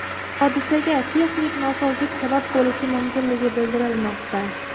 Hodisaga texnik nosozlik sabab bo‘lishi mumkinligi bildirilmoqda.